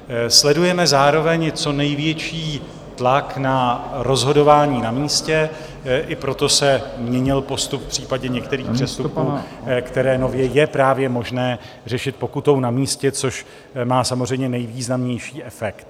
Sledujeme zároveň co největší tlak na rozhodování na místě, i proto se měnil postup v případě některých přestupků, které nově je právě možné řešit pokutou na místě, což má samozřejmě nejvýznamnější efekt.